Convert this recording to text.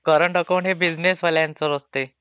Current account हे business वाल्यांच असते.